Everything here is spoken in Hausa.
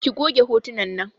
Ki goge hotunan nan!